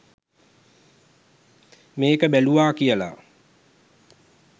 මේක බැලුවා කියලා